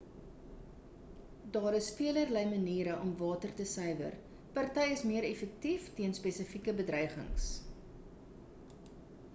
daar is velerlei maniere om water te suiwer party is meer effektief teen spesifieke bedreigings